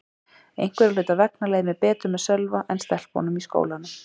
Einhverra hluta vegna leið mér betur með Sölva en stelpunum í skólanum.